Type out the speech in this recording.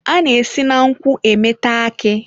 A na-esi na nkwu emeta aki.